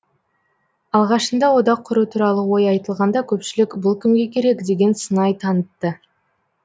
алғашында одақ құру туралы ой айтылғанда көпшілік бұл кімге керек деген сыңай танытты